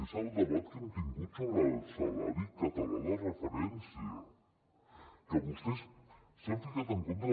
és el debat que hem tingut sobre el salari català de referència que vostès s’hi han ficat en contra